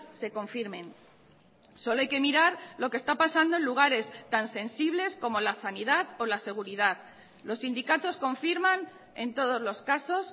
se confirmen solo hay que mirar lo que está pasando en lugares tan sensibles como la sanidad o la seguridad los sindicatos confirman en todos los casos